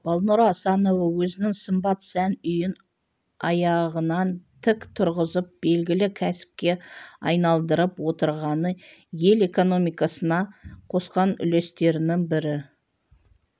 балнұр асанова өзінің сымбат сән үйін аяғынан тік тұрғызып белгілі кәсіпке айналдырып отырғаны ел экономикасына қосқан үлестерінің бірі